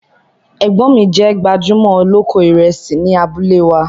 Ẹgbọ́n mi jẹ̀ gbajúmọ̀ oloko Ìrẹ̀sì ní àbúlẹ̀ wa.